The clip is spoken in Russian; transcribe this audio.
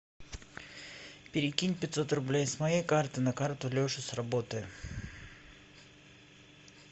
перекинь пятьсот рублей с моей карты на карту леши с работы